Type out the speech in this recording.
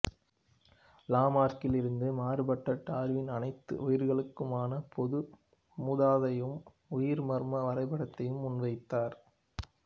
லாமார்க்கில் இருந்து மாறுபட்ட டார்வின் அனைத்து உயிரிகளுக்குமான பொது மூதாதையையும் உயிர் மரம் வரைபடத்தையும் முன் வைத்தார்